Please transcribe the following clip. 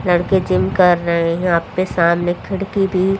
लड़के जिम कर रहे हैं यहां पे सामने खिड़की भी--